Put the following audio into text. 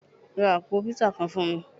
Rá apò piiza kán fún mí.